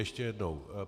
Ještě jednou.